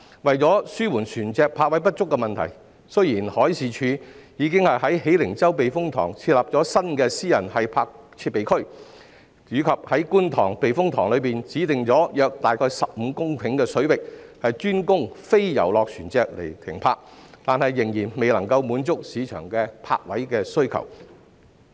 為紓緩船隻泊位不足的問題，海事處已在喜靈洲避風塘設立新的私人繫泊設備區，以及在觀塘避風塘內指定約15公頃的水域，專供非遊樂船隻繫泊，但仍然未能滿足市場的泊位需求。